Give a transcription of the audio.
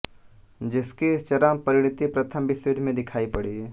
जिसकी चरम परिणति प्रथम विश्वयुद्ध में दिखाई पड़ी